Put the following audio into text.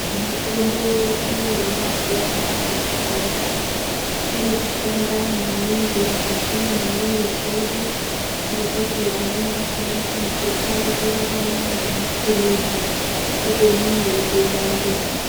Mutombo yedu yemazuwa anaya mushonga iri kushanda maningi mukati mwemiri dzedu ngekuti amweni akhona antu akutorarama ngemapilizi upenyu hweitoenda mberi.